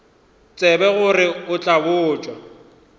tsebe gore o tla botša